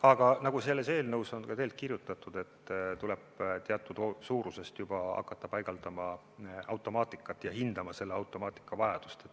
Aga nagu eelnõus on kirjutatud, tuleb teatud suurusest alates hakata paigaldama automaatikat ja hindama selle automaatika vajadust.